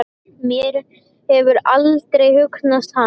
Mér hefur aldrei hugnast hann.